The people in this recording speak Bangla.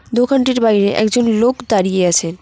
দোকানটির বাইরে একজন লোক দাঁড়িয়ে আছে।